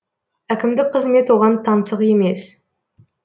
әкімдік қызмет оған таңсық емес